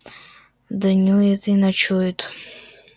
днюет и ночует